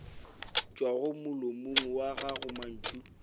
tšwago molomong wa gago mantšu